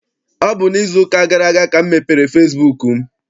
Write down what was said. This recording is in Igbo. Ọ bụ n'izu ụka gara aga ka m mepere fesibuuku m.